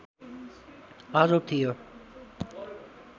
आरोप थियो